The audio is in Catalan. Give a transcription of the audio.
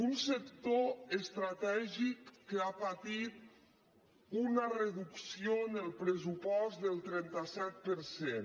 un sector estratègic que ha patit una reducció en el pressupost del trenta set per cent